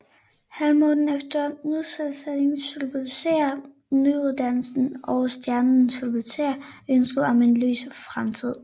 Halvmånen efter Nytænding symboliserer nydannelsen og Stjernen symboliserer ønsket om en lys Fremtid